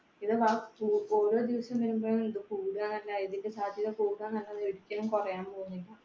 ഇത് ഓരോദിവസം വരുമ്പോഴും ഇത് കൂടുക എന്ന ഇതിന്റെ സാധ്യത, കൂടുക എന്നതല്ലാതെ ഒരിക്കലും കുറയാൻ പോകുന്നില്ല.